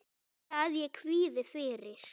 Ekki að ég kvíði fyrir.